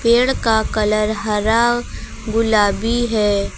पेड़ का कलर हरा गुलाबी है।